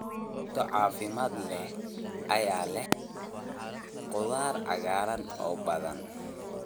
Cunto caafimaad leh ayaa leh khudaar cagaaran oo badan.